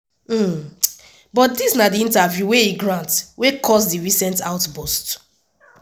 but dis na di interview wey e grant wey cause di recent outburst.